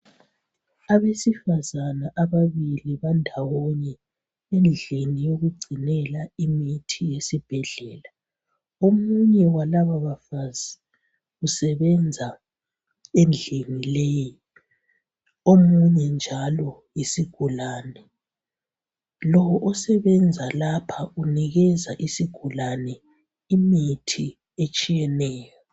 Abesifazana ababili bandawonye endlini yokugcinela imithi yesibhedlela, omunye walaba bafazi usebenza endlini leyi omunye njalo yisigulane. Lo osebenza lapha unikeza isigulane imithi etshiyeneyo.